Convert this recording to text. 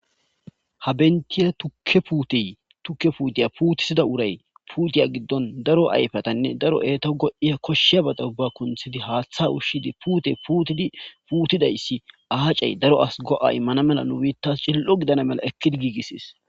ha bentiya tukke puutey tukke puutiya puutisida uray puutiya giddon daro ayfatanne daro eeto go7iya koshsheya bada ubba kunthidi haaththa ushshidi puute tidpuutidayssi aacey daro as go7a immana mela nu biittas cil7o gidana mela ekkidi giigisis